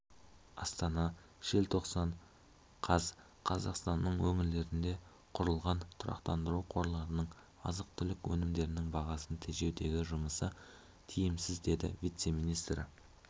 астана желтоқсан қаз қазақстанның өңірлерінде құрылған тұрақтандыру қорларының азық-түлік өнімдерінің бағасын тежеудегі жұмысы тиімсіз деді вице-министрі